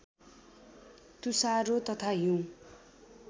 तुषारो तथा हिउँ